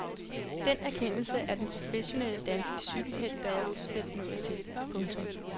Den erkendelse er den professionelle danske cykelhelt da også selv nået til. punktum